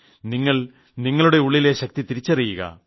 നിങ്ങൾ നിങ്ങളുടെ ഉളളിലെ ശക്തി തിരിച്ചറിയുക